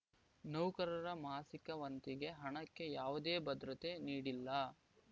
ನೌಕರರ ಮಾಸಿಕ ವಂತಿಗೆ ಹಣಕ್ಕೆ ಯಾವುದೇ ಭದ್ರತೆ ನೀಡಿಲ್ಲ